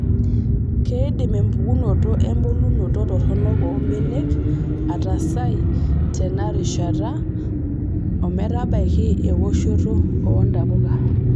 Keidim empukunoto embulunoto toronok oo mbanenk ataasai tena rishata ometabaiki ewoshoto oo ntapuka.